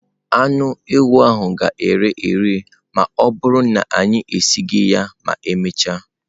Anụ ewu ahụ ga-ere ere ma ọ bụrụ na anyị esighị ya ma emechaa.